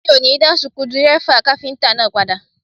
Mi ò ní dá suku dírẹ́fà kápíntà náà padà